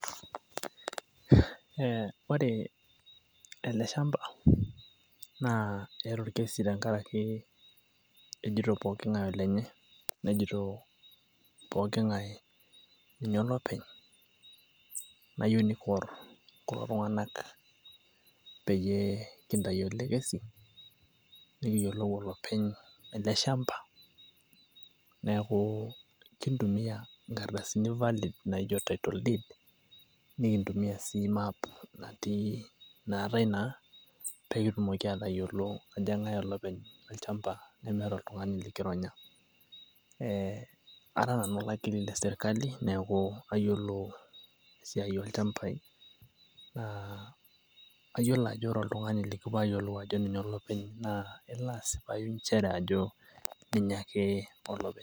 ore ele shamba naa keeta orkesi ntenkaraki nejito poking'ae olenye , naa kayieu nikiwor kulo tung'anak pee kintau elekesi nikiyielou olopeny ele shamba, neeku kintumia nkardasini valid naijo title deed ,nikitumiya sii map pee kitum atayiolo ajo keng'ae olopeny olchamba nimikindorongony.